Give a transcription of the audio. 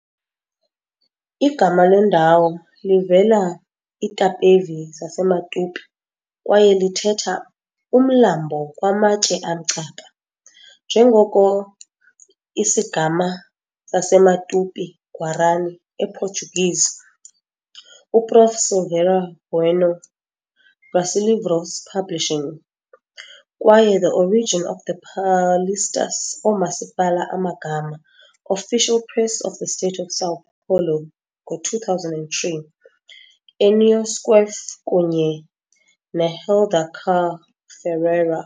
Igama lendawo livela Itapevi zaseMatupi kwaye lithetha "umlambo kwamatye amcaba", njengoko i "Isigama zaseMatupi-Guarani - Portuguese" Prof Silveira Bueno, Brasilivros Publishing, kwaye "The Origin of the Paulistas Oomasipala Amagama", Official Press of the State of São Paulo, 2003, Enio Squeff kunye Helder car Ferreira.